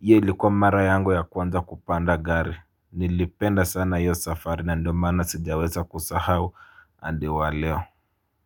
Iyo ilikua mara yangu ya kwanza kupanda gari. Nilipenda sana hiyo safari na ndo maana sijaweza kusahau hadi wa leo.